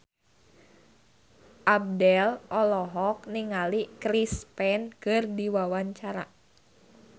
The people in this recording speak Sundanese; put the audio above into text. Abdel olohok ningali Chris Pane keur diwawancara